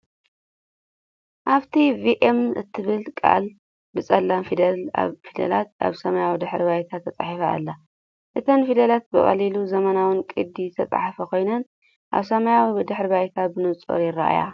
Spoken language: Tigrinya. ኣብቲ “ቭኢሞ” እትብል ቃል ብጸሊም ፊደላት ኣብ ሰማያዊ ድሕረ ባይታ ተጻሒፋ ኣላ። እተን ፊደላት ብቐሊልን ዘመናውን ቅዲ ዝተጻሕፋ ኮይነን ኣብ ሰማያዊ ድሕረ ባይታ ብንጹር ይረኣያ።